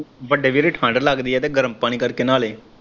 ਵੱਡੇ ਵੀਰ ਠੰਢ ਲੱਗਦੀ ਐ ਤੇ ਗਰਮ ਪਾਣੀ ਕਰਕੇ ਨਾਲੀ।